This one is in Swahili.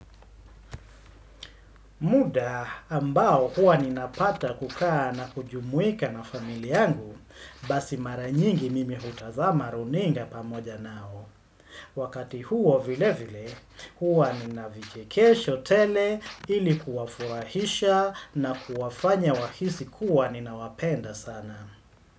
Muda ambao huwa ninapata kukaa na kujumuika na familia yangu basi maranyingi mimi hutazama runinga pamoja nao. Wakati huo vile vile huwa ninavichekesho tele ili kuwafurahisha na kuwafanya wahisi kuwa ninawapenda sana.